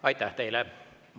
Aitäh teile!